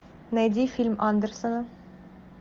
найди фильм андерсона